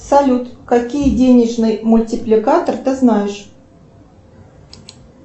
салют какие денежный мультипликатор ты знаешь